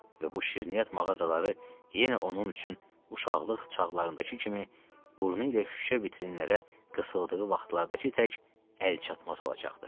Və bu şirniyyat mağazaları yenə onun üçün uşaqlıq çağlarındakı kimi burnu ilə şüşə vitrinlərə qısıldığı vaxtlardakı tək əlçatmaz olacaqdı.